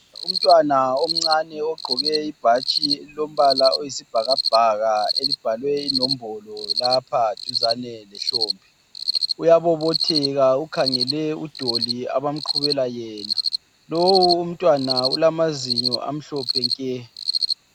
Umntwana omncane ogqoke ibhatshi elilombala oyisibhakabhaka elibhalwe inombolo lapha duzane lehlombe uyabobotheka ukhangele udoli abamqhubela yena. Lowu umntwana ulamazinyo amhlophe nke.